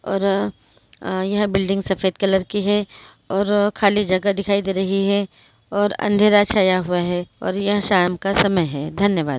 और अ यह बिल्डिंग सफ़ेद कलर की है और अ खाली जगह दिखाई दे रही है और अंधेरा छाया हुआ है और ये शाम का समय है धन्यवाद।